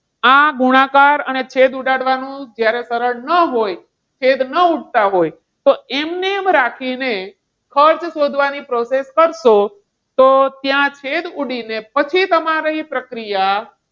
આ ગુણાકાર અને છેદ ઉડાડવાનું જ્યારે સરળ ન હોય છેદ ન ઉડતા હોય તો એમનેમ રાખીને ખર્ચ શોધવાની process કરશો તો ત્યાં છેદ ઉડીને પછી તમારી પ્રક્રિયા,